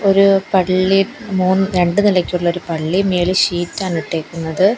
ഒരു പള്ളി മൂന് രണ്ടു നെലക്കുള്ള ഒരു പളളി മേളി ഷീറ്റാണ് ഇട്ടേക്കുന്നത്.